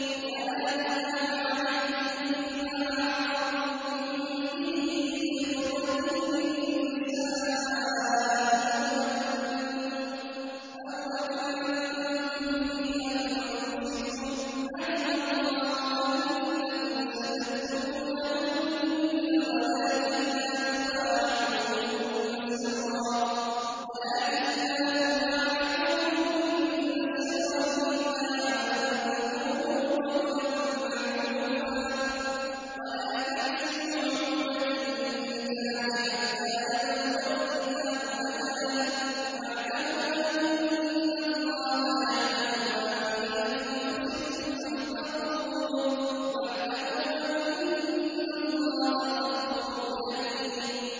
وَلَا جُنَاحَ عَلَيْكُمْ فِيمَا عَرَّضْتُم بِهِ مِنْ خِطْبَةِ النِّسَاءِ أَوْ أَكْنَنتُمْ فِي أَنفُسِكُمْ ۚ عَلِمَ اللَّهُ أَنَّكُمْ سَتَذْكُرُونَهُنَّ وَلَٰكِن لَّا تُوَاعِدُوهُنَّ سِرًّا إِلَّا أَن تَقُولُوا قَوْلًا مَّعْرُوفًا ۚ وَلَا تَعْزِمُوا عُقْدَةَ النِّكَاحِ حَتَّىٰ يَبْلُغَ الْكِتَابُ أَجَلَهُ ۚ وَاعْلَمُوا أَنَّ اللَّهَ يَعْلَمُ مَا فِي أَنفُسِكُمْ فَاحْذَرُوهُ ۚ وَاعْلَمُوا أَنَّ اللَّهَ غَفُورٌ حَلِيمٌ